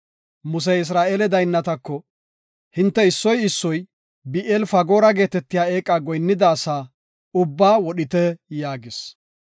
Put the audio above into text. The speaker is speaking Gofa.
Musey Isra7eele daynnatako, “Hinte issoy issoy Bi7eel-Fagoora geetetiya eeqa goyinnida asa ubbaa wodhite” yaagis.